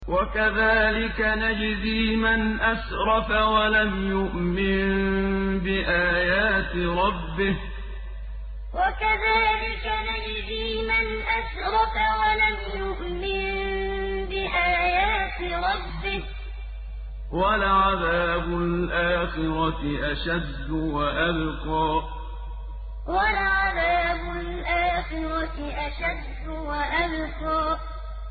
وَكَذَٰلِكَ نَجْزِي مَنْ أَسْرَفَ وَلَمْ يُؤْمِن بِآيَاتِ رَبِّهِ ۚ وَلَعَذَابُ الْآخِرَةِ أَشَدُّ وَأَبْقَىٰ وَكَذَٰلِكَ نَجْزِي مَنْ أَسْرَفَ وَلَمْ يُؤْمِن بِآيَاتِ رَبِّهِ ۚ وَلَعَذَابُ الْآخِرَةِ أَشَدُّ وَأَبْقَىٰ